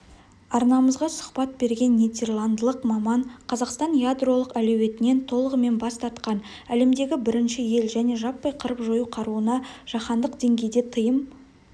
арнамызға сұхбат берген нидерландылық маман қазақстан ядролық әлеуетінен толығымен бас тартқан әлемдегі бірінші ел және жаппай қырып-жою қаруына жаһандық деңгейде тыйым